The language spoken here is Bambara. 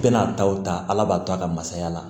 Bɛna a taw ta ala b'a to a ka masaya la